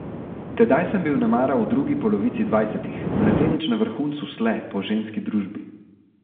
Tedaj sem bil nemara v drugi polovici dvajsetih, mladenič na vrhuncu sle po ženski družbi.